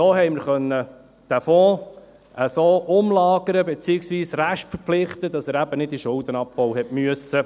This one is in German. So konnten wir den Fonds so umlagern beziehungsweise restverpflichten, dass er eben nicht in den Schuldenabbau musste.